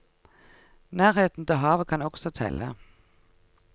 Nærheten til havet kan også telle.